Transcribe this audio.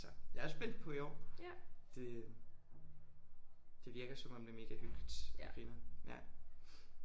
Så jeg er også spændt på i år. Det øh det virker som om det er mega hyggeligt og grineren ja